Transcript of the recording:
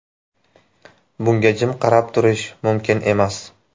Bunga jim qarab turish mumkin emas.